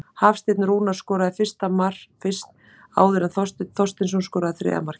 Hafsteinn Rúnar skoraði fyrst áður en Þorsteinn Þorsteinsson skoraði þriðja markið.